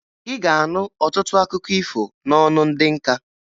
Ị ga-anụ ọtụtụ akụkọ ifo n'ọnụ ndị nka